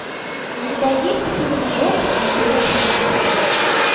у тебя есть фильм джобс империя соблазна